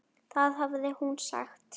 Það hafði hún sagt.